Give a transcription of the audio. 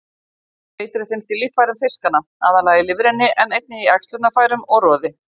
Eitrið finnst í líffærum fiskanna, aðallega lifrinni en einnig í æxlunarfærum og roði.